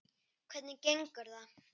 Hvernig gengur það?